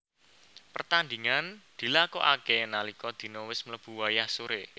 Pertandingan dilakokake nalika dina wis mlebu wayah sore